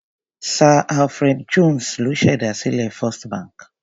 Sir Alfred Jones ló ṣèdásílẹ̀ Fist bank.